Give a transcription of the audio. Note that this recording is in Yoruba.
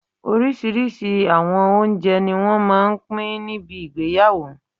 Oríṣiríṣi awọn oúnjẹ ni wọ́n máà ń pín níbi ìgbéyàwó